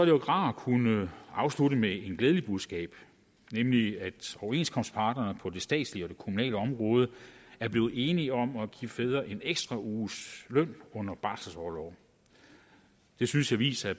jo rart at kunne afslutte med et glædeligt budskab nemlig at overenskomstparterne på det statslige og det kommunale område er blevet enige om at give fædre en ekstra uges løn under barselsorlov det synes jeg viser at